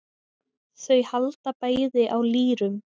Þau halda bæði á lýrum.